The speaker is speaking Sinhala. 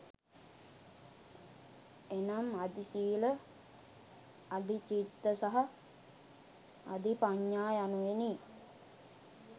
එනම්, අධිසීල, අධිචිත්ත සහ අධිපඤ්ඤා යනුවෙනි.